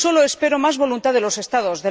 Solo espero más voluntad de los Estados